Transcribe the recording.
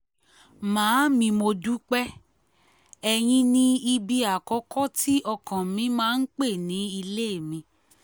màámi mo dúpẹ́ ẹ̀yìn ní ibi àkọ́kọ́ tí ọkàn mi máa ń pẹ́ ní ilé mi